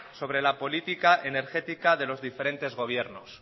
sobre la política energética de los diferentes gobiernos